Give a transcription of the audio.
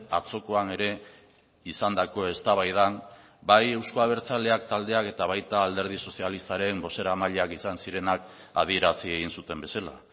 atzokoan ere izandako eztabaidan bai euzko abertzaleak taldeak eta baita alderdi sozialistaren bozeramaileak izan zirenak adierazi egin zuten bezala